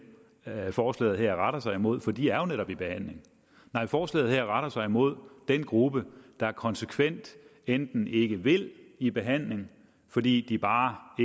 forslaget her retter sig mod for de er jo netop i behandling nej forslaget her retter sig mod den gruppe der konsekvent enten ikke vil i behandling fordi de bare